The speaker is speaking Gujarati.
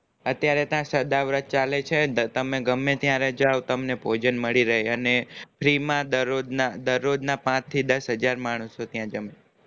અત્યારે ત્યાં સદાવ્રત ચાલે છે તો તમે ગમ્મે ત્યારે જાવ તમને ભોજન મળી રેય અને free માં દર રોજ દર રોજ ના પાંચ થી દસ હાજર માણસો ત્યાં જેમ